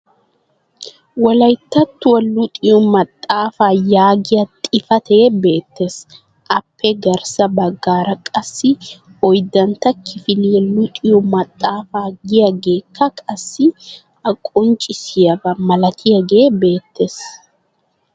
wolayttattuwa luxxiyo maxaafaa yaagiya xifatee beetees. aappe garssa bagaara qassi oydantta kifiliya luxxiyo maxaafaa giyaageekka qassi a qonncissiyaba malatiyaagee beetees.